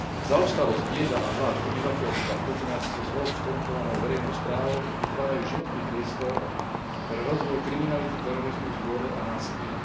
Zaostalosť, bieda a hlad obyvateľstva v kombinácii so zlou, skorumpovanou verejnou správou vytvárajú životný priestor pre rozvoj kriminality, terorizmu, zvole a násilia.